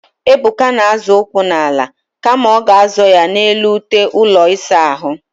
Ebuka na-azọ ụkwụ n'ala kama ọ ga-azọ ya n'elu ute ụlọ ịsa ahụ.